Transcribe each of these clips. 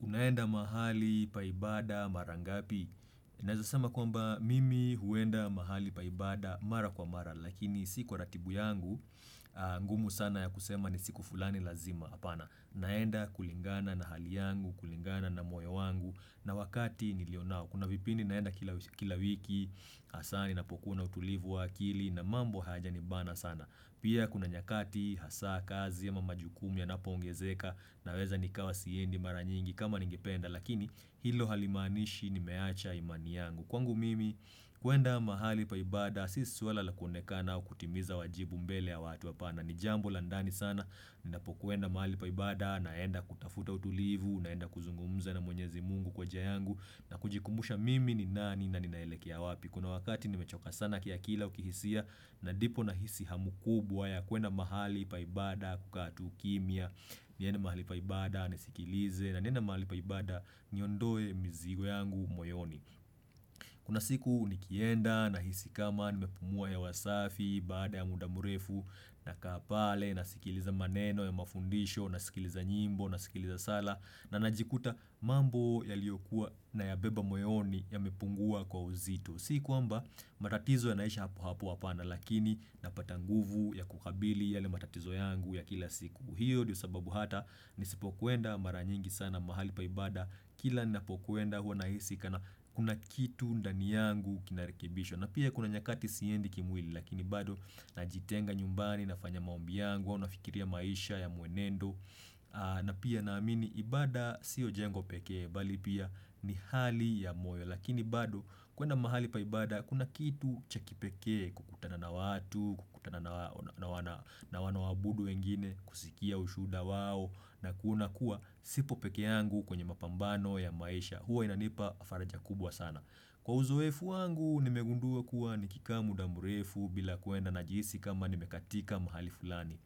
Unaenda mahali pa ibada mara ngapi? Naeza sema kwamba mimi huenda mahali pa ibada mara kwa mara lakini si kwa ratibu yangu, ngumu sana ya kusema ni siku fulani lazima apana. Naenda kulingana na hali yangu, kulingana na moyo wangu na wakati nilio nao. Kuna vipindi naenda kila wiki, hasa ninapokuwa na utulivu wa akili na mambo hayajanibana sana. Pia kuna nyakati hasa kazi ama majukumu yanapoongezeka naweza nikawa siendi mara nyingi. Kama ningependa, lakini hilo halimanishi nimeacha imani yangu kwangu mimi kuenda mahali pa ibada si swala la kuonekana au kutimiza wajibu mbele ya watu. Apana ni jambo la ndani sana ninapokwenda mahali pa ibada naenda kutafuta utulivu, naenda kuzungumza na mwenyezi mungu kwa njia yangu na kujikumbusha mimi ni nani na ninaelekea wapi kuna wakati nimechoka sana kiakili au kihisia na ndipo nahisi hamu kubwa ya kuenda mahali pa ibada kukaa tu kimya niende mahali pa ibada Nisikilize na naenda mahali pa ibada niondoe mzigo yangu moyoni Kuna siku nikienda nahisi kama nimepumua hewa safi Baada ya muda mrefu nakaa pale nasikiliza maneno ya mafundisho, nasikiliza nyimbo, nasikiliza sala na najikuta mambo yaliyokuwa nayabeba moyoni yamepungua kwa uzito si kwamba matatizo yanaisha hapo hapo, apana Lakini napata nguvu ya kukabili yale matatizo yangu ya kila siku hiyo ndio sababu hata nisipokuenda mara nyingi sana mahali pa ibada kila ninapokuenda hua nahisi kana kuna kitu ndani yangu kinarekebishwa. Na pia kuna nyakati siendi kimwili lakini bado najitenga nyumbani nafanya maombi yangu au nafikiria maisha ya muenendo. Na pia naamini ibada sio jengo pekee bali pia ni hali ya moyo lakini bado kuenda mahali pa ibada kuna kitu cha kipekee kukutana na watu, kukutana na wanaowabudu wengine. Kusikia ushuhuda wao na kuona kuwa sipo pekee yangu kwenye mapambano ya maisha. Hua inanipa faraja kubwa sana. Kwa uzoefu wangu nimegundua kuwa nikikaa muda mrefu bila kuenda najihisi kama nimekatika mahali fulani.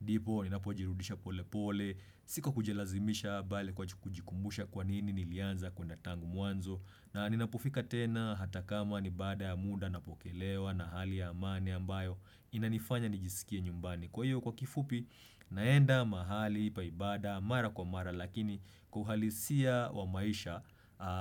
Ndipo, ninapojirudisha pole pole, si kwa kujilazimisha, bali kwa kujikumbusha kwa nini nilianza kwenda tangu mwanzo. Na ninapofika tena hata kama ni baada ya muda napokelewa na hali ya amani ambayo. Inanifanya nijisikie nyumbani. Kwa hiyo kwa kifupi, naenda mahali pa ibada, mara kwa mara, lakini kwa uhalisia wa maisha,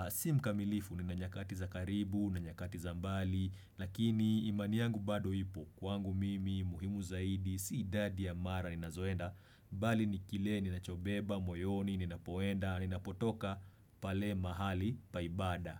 simkamilifu nina nyakati za karibu, na nyakati za mbali, lakini imani yangu bado ipo, kwangu mimi, muhimu zaidi, si idadi ya mara ninazoenda, bali ni kile, ninachobeba, moyoni, ninapoenda, ninapotoka pale mahali pa ibada.